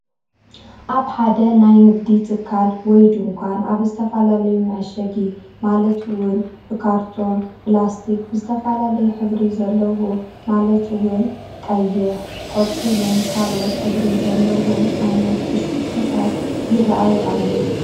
ኣብ ሓደ ናይ ንግዲ ትካል(ድንዃን) ኣብ ዝተፈላለዩ መዐሸጊ ማልት እውን ብካርቶን ብላስቲክ ዝተፈላለየ ሕብሪ ዘለዎ ማለት እወን ቀይሕ ቆፃልን ካልኦት ህብሪን ዘለዎም ዓይነት ብሽኩቲታት ይረኣዩ ኣለዉ::